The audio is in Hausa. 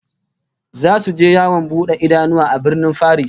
Zasu je yawon bude idanu a Birnin Faris